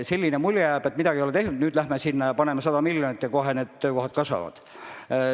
Selline mulje jääb, et midagi ei ole tehtud, aga nüüd me läheme sinna ja anname käiku 100 miljonit, ja kohe töökohtade arv kasvab.